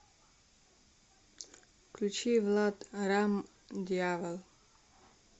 включи влад рамм дьявол